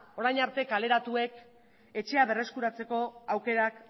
orain arte kaleratuek etxea berreskuratzeko aukerak